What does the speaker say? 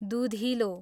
दुधिलो